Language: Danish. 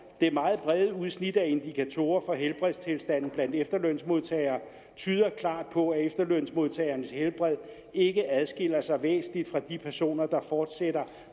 det meget brede udsnit af indikatorer for helbredstilstanden blandt efterlønsmodtagere tyder klart på at efterlønsmodtagernes helbred ikke adskiller sig væsentligt fra de personer der fortsætter